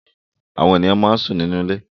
Àwọn ènìyàn máa ń sún sínú ilé